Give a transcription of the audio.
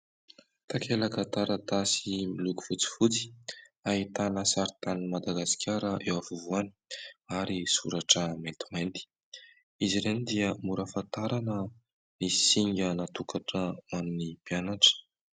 Takelaka taratasy miloko fotsifotsy, ahitana sarintan'i Madagasikara eo afovoany ary soratra maintimainty, izy ireny dia mora hafatarana ny singa natokana ho any mpianatra.